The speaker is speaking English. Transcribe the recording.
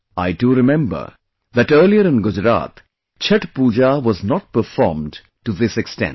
I do remember that earlier in Gujarat, Chhath Pooja was not performed to this extent